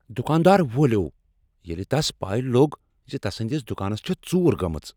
دکاندار وولیوو ییٚلہ تس پے لوٚگ ز تسندس دکانس چھےٚ ژور گٔمٕژ۔